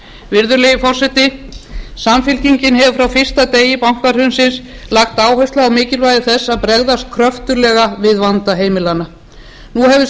virðulegi forseti samfylkingin hefur frá fyrsta degi bankahrunsins lagt áherslu á mikilvægi þess að bregðast kröftuglega við vanda heimilanna nú hefur